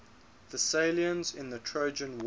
thessalians in the trojan war